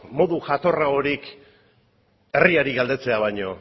modu jatorragorik herriari galdetzea baino